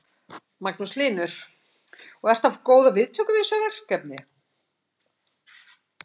Magnús Hlynur: Og ertu að fá góðar viðtökur við þessu verkefni?